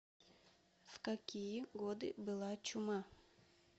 в какие годы была чума